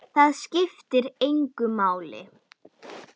Það skiptir engu máli.